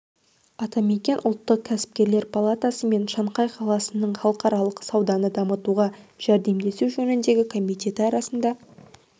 атамекен ұлттық кәсіпкерлер палатасы мен шанхай қаласының халықаралық сауданы дамытуға жәрдемдесу жөніндегі комитеті арасында